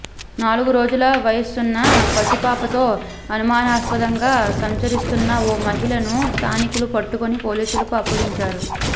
నాలుగు రోజుల వయసున్న పసిపాపతో అనుమానాస్పదంగా సంచరిస్తున్న ఓ మహిళను స్థానికులు పట్టుకుని పోలీసులకు అప్పగించారు